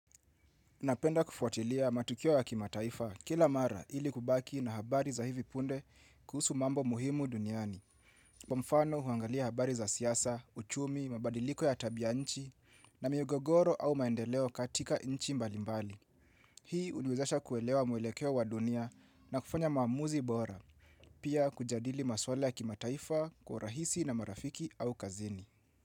Napenda kufuatilia matukio ya kimataifa kila mara ili kubaki na habari za hivi punde kuhusu mambo muhimu duniani. Kwa mfano huangalia habari za siasa, uchumi, mabadiliko ya tabia nchi na migogoro au maendeleo katika nchi mbalimbali. Hii uniwezesha kuelewa mwelekeo wa dunia na kufanya maamuzi bora, pia kujadili maswala ya kimataifa kwa urahisi na marafiki au kazini.